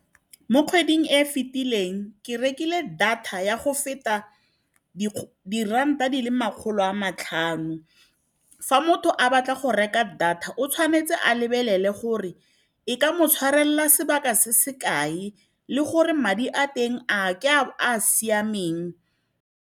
Mo kgweding e e fetileng ke rekile data ya go feta diranta di le makgolo a matlhano. Fa motho a batla go reka data, o tshwanetse a lebelele gore e ka mo tshwarelela sebaka se se kae le gore madi a teng ao ke a siameng.